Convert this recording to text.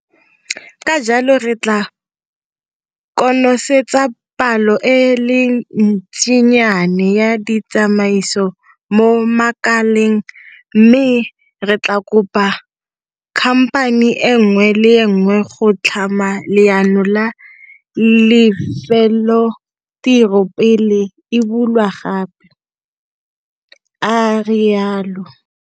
Ka jalo re tla konosetsa palo e le ntsinyana ya ditsamaiso mo makaleng mme re tla kopa khamphani e nngwe le e nngwe go tlhama leano la lefelotiro pele e bulwa gape, a rialo.